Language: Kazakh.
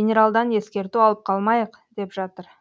генералдан ескерту алып қалмайық деп жатыр